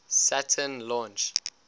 saturn launch